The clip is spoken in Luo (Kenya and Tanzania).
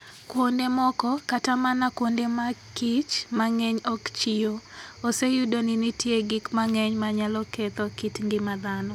Kuonde moko, kata mana kuonde ma kich mang'eny ok kichyo, oseyudo ni nitie gik mang'eny manyalo ketho kit ngima dhano.